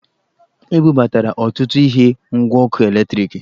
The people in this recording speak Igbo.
E bubatara ọtụtụ ihe ngwa ọkụ eletriki